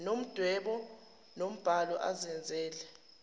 ngomdwebo nombhalo azenzele